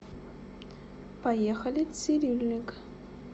поехали цирюльник